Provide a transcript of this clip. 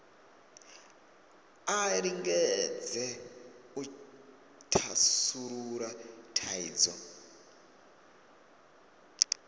a lingedze u thasulula thaidzo